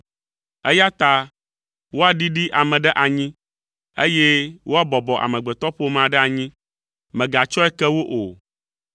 eya ta woaɖiɖi ame ɖe anyi eye woabɔbɔ amegbetɔƒomea ɖe anyi, mègatsɔe ke wo o.